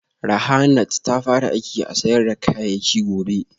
Rahanart ta fara aiki a sayar da kayayyaki gobe